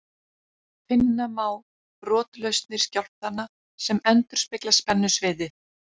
Finna má brotlausnir skjálftanna sem endurspegla spennusviðið.